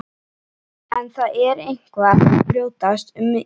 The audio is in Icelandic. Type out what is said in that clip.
En það er eitthvað að brjótast um í henni.